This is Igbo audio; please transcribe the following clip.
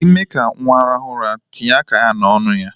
Ime ka nwa rahu ura, tinye aka ya n'onu ya.